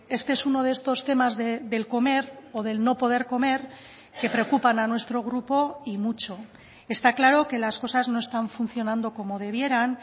este es uno de estos temas del comer o del no poder comer que preocupan a nuestro grupo y mucho está claro que las cosas no están funcionando como debieran